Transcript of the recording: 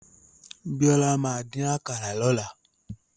Bíọ́lá máa dín àkàrà lọ́la.